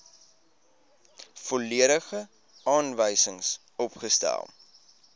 volledige aanwysings opgestel